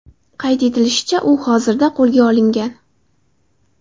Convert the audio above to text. Qayd etilishicha, u hozirda qo‘lga olingan.